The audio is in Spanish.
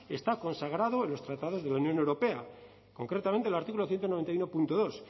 está consagrado en los tratados de la unión europea concretamente en el artículo ciento noventa y uno punto dos